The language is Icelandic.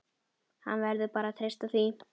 Hann verður bara að treysta því.